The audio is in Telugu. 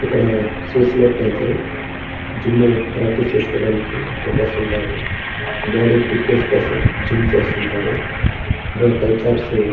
మేము కూడా మా వీధిలో కూడా ఒక పుస్తక దుకాణాలు ఉండి పుస్తకాలు చదవడం వల్ల మధ శక్తి--